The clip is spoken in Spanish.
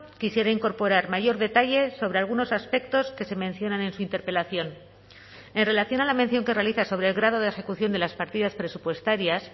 quisiera incorporar mayor detalle sobre algunos aspectos que se mencionan en su interpelación en relación a la mención que realiza sobre el grado de ejecución de las partidas presupuestarias